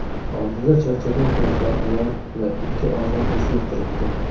Oldida charchagan qiyofali ayol va ikki ozg‘in o‘smir turibdi.